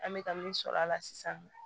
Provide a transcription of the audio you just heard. An bɛ ka min sɔrɔ a la sisan nɔ